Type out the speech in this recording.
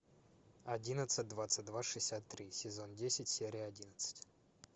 одиннадцать двадцать два шестьдесят три сезон десять серия одиннадцать